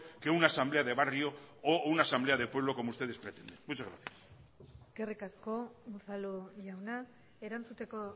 que una asamblea de barrio o una asamblea de pueblo como ustedes pretenden muchas gracias eskerrik asko unzalu jauna erantzuteko